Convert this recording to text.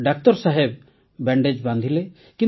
ଡାକ୍ତର ସାହେବ ବ୍ୟାଣ୍ଡେଜ ବାନ୍ଧିଲେ